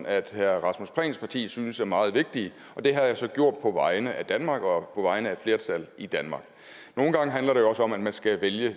at herre rasmus prehns parti synes er meget vigtige det har jeg så gjort på vegne af danmark og på vegne af et flertal i danmark nogle gange handler det jo også om at man skal vælge at